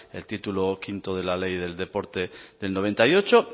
el título quinto de la ley del deporte del noventa y ocho